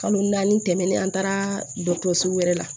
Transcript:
Kalo naani tɛmɛnen an taara dɔgɔtɔrɔso wɛrɛ la